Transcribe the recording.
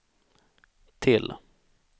till